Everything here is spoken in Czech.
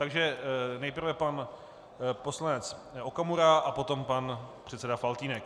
Takže nejprve pan poslanec Okamura a potom pan předseda Faltýnek.